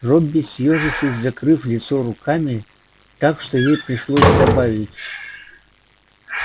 робби съёжившись закрыв лицо руками так что ей пришлось добавить